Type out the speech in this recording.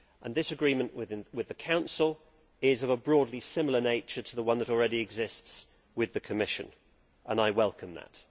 This agreement with the Council is of a broadly similar nature to the one that already exists with the Commission, and I welcome that.